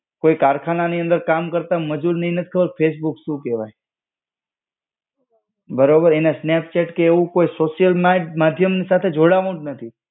કોઈ કારખાના ની અંદર કામ કરતા મજૂરને એ નત ખબર ફેસબુક શું કહેવાય. બરોબર, એને સ્નેપચેટ કે એવું કોઈ સોશિયલ માધ્યમ સાથે જોડાવું જ નથી.